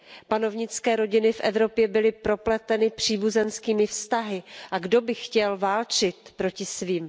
Panovnické rodiny v Evropě byly propleteny příbuzenskými vztahy, a kdo by chtěl válčit proti svým?